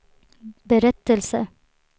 berättelse